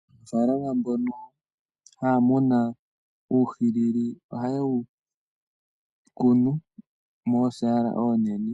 Aanafaalama mbono haya muna uuhwilili, ohaye wu kunu moosaala oonene